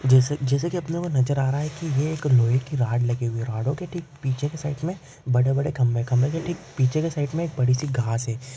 जैसे जैसे की अपने को नज़र आ रहा है की ये एक लोहे की रॉड लगी हुई है रॉडो के ठीक पिच्छे की साईड मे बड़े-बड़े खंबे खंबे के ठीक पिच्छे के साईड मे एक बड़ीसी घास है।